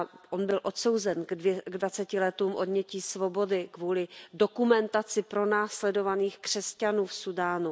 On byl odsouzen k dvaceti letům odnětí svobody kvůli dokumentování pronásledování křesťanů v Súdánu.